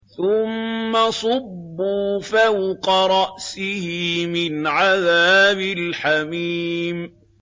ثُمَّ صُبُّوا فَوْقَ رَأْسِهِ مِنْ عَذَابِ الْحَمِيمِ